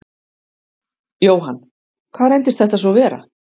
Jóhann: Hvað reyndist þetta svo vera?